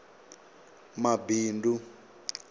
mabindu